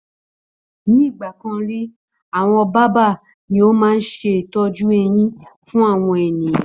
Ní ìgbàkan rí, àwọn bábà ni ó máa ń ṣe ìtọ́jú eyin fún àwọn ènìyàn